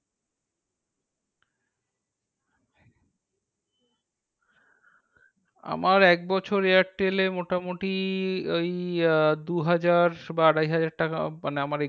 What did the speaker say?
আমার একবছর airtel মোটামুটি ওই আহ দুহাজার বা আড়াইহাজার টাকা। মানে আমার